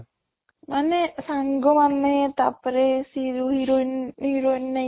ମାନେ ସାଙ୍ଗ ମାନେ ତା ପରେ ସିଏ ଯୋଉ heroine heroine ନାଇଁ